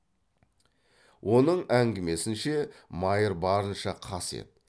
оның әңгімесінше майыр барынша қас еді